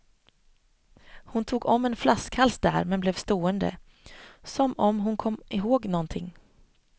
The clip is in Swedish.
Hon tog om en flaskhals där men blev stående, som om hon kom ihåg nånting.